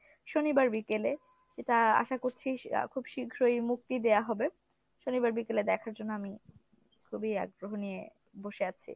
শনিবার বিকেলে, সেটা আশা করছি আহ খুব শীঘ্রই মুক্তি দেয়া হবে। শনিবার বিকেলে দেখার জন্য আমি খুবই আগ্রহ নিয়ে বসে আছি।